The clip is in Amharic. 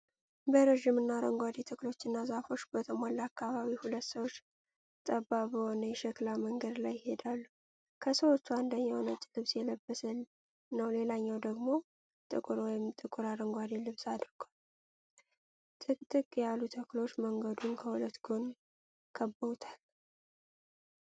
በረጅምና አረንጓዴ፣ ተክሎችና ዛፎች በተሞላ አካባቢ ሁለት ሰዎች ጠባብ በሆነ የሸክላ መንገድ ላይ ይሄዳሉ፡። ከሰዎቹ አንደኛው ነጭ ልብስ የለበሰ ነው ሌላኛው ደግሞ ጥቁር ወይም ጥቁር አረንጓዴ ልብስ አድርጓል፡። ጥቅጥቅ ያሉ ተክሎች መንገዱን ከሁለት ጎን ከበውታል፡።